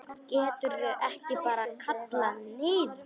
Geturðu ekki bara kallað niður?